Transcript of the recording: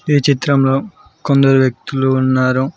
ఈ చిత్రంలో కొందరు వ్యక్తులు ఉన్నారు.